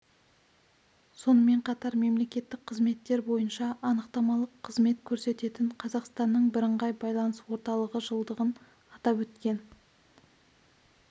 сонымен қатар мемлекеттік қызметтер бойынша анықтамалық қызмет көрсететін қазақстанның бірыңғай байланыс орталығы жылдығын атап өткен